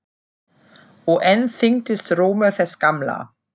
Og enn þyngdist rómur þess gamla.